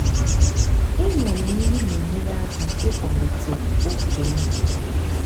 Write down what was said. inwale nri na-enyere aka ịkwalite oke nri.